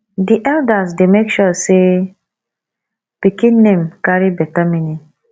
di eldas dey make sure sey pikin name carry beta meaning